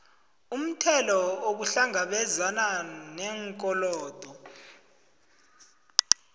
umthelo ukuhlangabezana neenkolodo